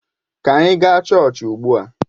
Ka anyị gaa chọọchị ugbu a!